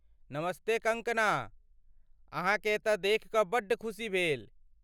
नमस्ते कंगकना, अहाँकेँ एतय देखि कऽ बड्ड खुशी भेल ।